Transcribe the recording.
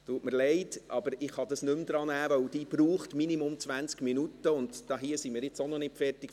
Es tut mir leid, aber ich kann das nicht mehr drannehmen, denn ich brauche mindestens 20 Minuten, und hier sind wir auch noch nicht fertig.